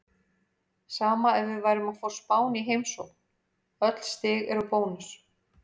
Sama ef við værum að fá Spán í heimsókn, öll stig eru bónus.